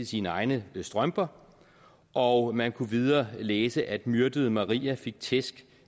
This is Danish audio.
sine egne strømper og man kunne videre læse at myrdede maria fik tæsk